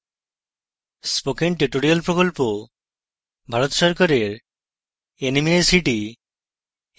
spoken tutorial প্রকল্প ভারত সরকারের nmeict mhrd দ্বারা সমর্থিত